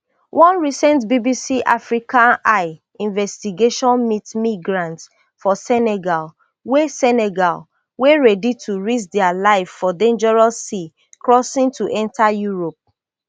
one recent bbc africa eye investigation meet migrants for senegal wey senegal wey ready to risk dia life for dangerous sea crossing to enta europe